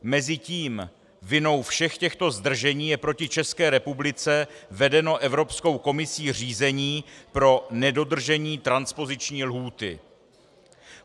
Mezitím vinou všech těchto zdržení je proti České republice vedeno Evropskou komisí řízení pro nedodržení transpoziční lhůty.